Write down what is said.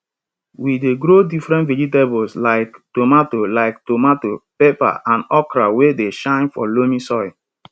we dey grow different vegetables like tomato like tomato pepper and okra wey dey shine for loamy soil